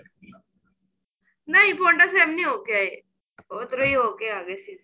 ਅਨ੍ਹੀਂ ਪੋੰਟਾ ਸਾਹਿਬ ਨੀਂ ਹੋ ਕੇ ਆਏ ਉੱਧਰੋ ਹੀ ਹੋ ਕੇ ਆ ਗਏ ਸੀ